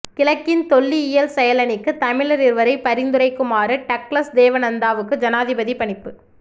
கிழக்கின் தொல்லியல் செயலணிக்கு தமிழர் இருவரை பரிந்துரைக்குமாறு டக்ளஸ் தேவானந்தாவுக்கு ஜனாதிபதி பணிப்பு